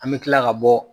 An bɛ tila ka bɔ